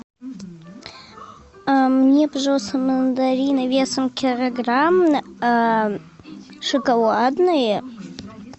мне пожалуйста мандарины весом килограмм шоколадные